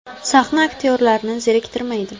Sahna aktyorlarni zeriktirmaydi.